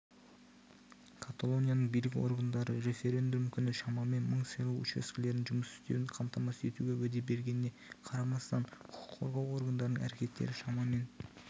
каталонияның билік органдары референдум күні шамамен мың сайлау учаскелерінің жұмыс істеуін қамтамасыз етуге уәде бергеніне қарамастан құқық қорғау органдарының әрекеттері шамамен